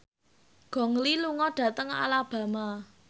Gong Li lunga dhateng Alabama